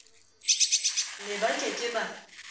ne ba ke ke ba